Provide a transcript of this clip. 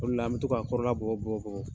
O le la an bɛ to k'a kɔrɔla bugɔ bugɔ bugɔ.